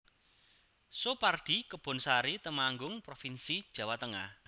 Soepardi Kebonsari Temanggung provinsi Jawa Tengah